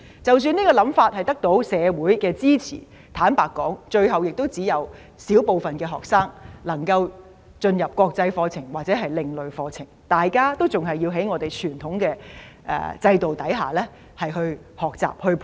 即使這個想法得到社會支持，坦白說，最後只有小部分學生能夠修讀國際課程，或者另類課程，大部分學生還是要在傳統制度下學習。